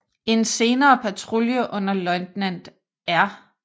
En senere patrulje under løjtnant R